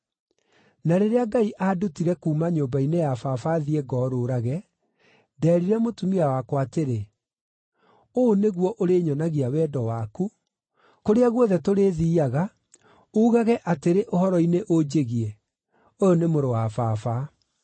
Na rĩrĩa Ngai aandutire kuuma nyũmba-inĩ ya baba thiĩ ngorũũrage, ndeerire mũtumia wakwa atĩrĩ, ‘Ũũ nĩguo ũrĩnyonagia wendo waku: Kũrĩa guothe tũrĩthiiaga, uugage atĩrĩ ũhoro-inĩ ũnjĩgiĩ, “Ũyũ nĩ mũrũ wa baba.” ’”